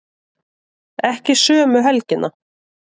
Ekki sömu helgina.